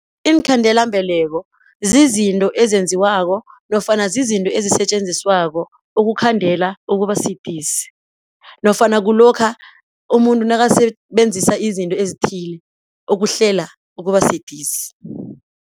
Iinkhandelambeleko zizinto ezenziwako nofana zizinto ezisetjenziswako ukukhandela ukuba sidisi nofana kulokha umuntu nakasebenzisa izinto ezithile ukuhlela ukuba sidisi.